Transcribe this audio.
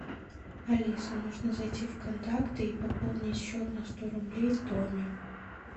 алиса нужно зайти в контакты и пополнить счет на сто рублей томе